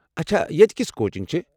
اچھا ییٚتہِ كِژھ کوچِنٛگ چھےٚ؟